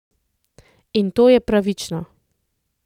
In to je pravično.